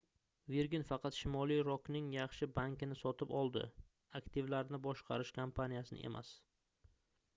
virgin faqat shimoliy rokning yaxshi banki"ni sotib oldi aktivlarni boshqarish kompaniyasini emas